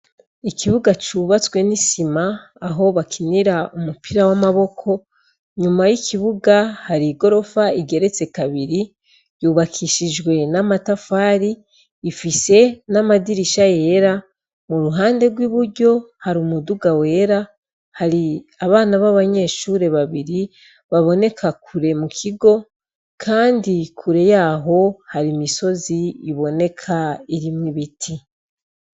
Ikibuga cubatswe n'isima aho bakinira umupira w'amaboko nyuma y'ikibuga hari i gorofa igeretse kabiri yubakishijwe n'amatafari ifise n'amadirisha yera mu ruhande rw'i buryo hari umuduga wera hari abana b'abanyeshure babiri baboneka kure mu kigo, kandi kure yaho hari imisozi iboneka irimwo ibiti.